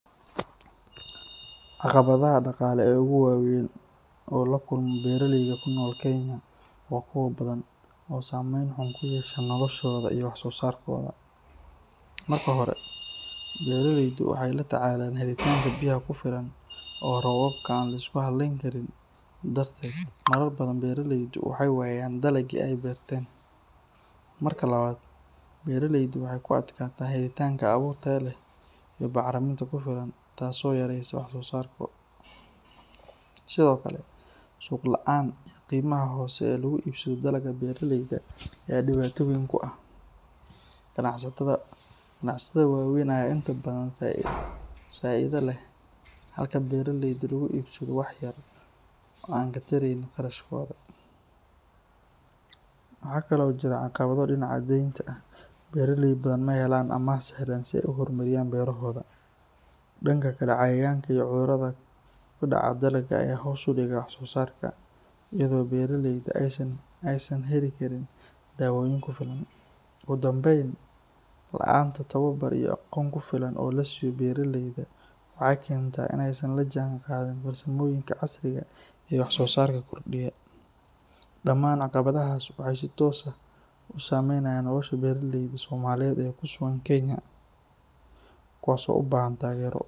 Caqabadaha daqale oo lakulmo beera leyda kunol kenya waa kuwa badan oo samen kuyesha noloshoda iyo wax sosarkoda, marka hore beera leyda waxee la tacalan oo robabka lasku haleyni karin, tas oo yaresa wax sosarkoda sithokale suq laan qimaha hose ee lagu ibsadho dalaga beera leyda ee diwatoyin ganacsataada wawen aya inta badan faidha leh halka beera leydu ee waxba ka tareynin shaqadhoda, iyada oo beera leyda ee san heli karin kufilan, daman aqawaadaha ee si toska ee kusugan kenya kuwas oo ubahan tagero.